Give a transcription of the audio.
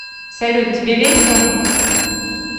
салют тебе весело